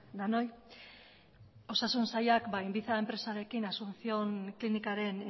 denoi osasun sailak inviza enpresarekin asunción klinikaren